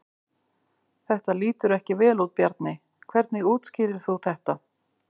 Þetta lítur ekki vel út Bjarni, hvernig útskýrir þú þetta?